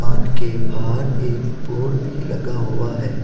के बाहर एक बोर्ड भी लगा हुआ है।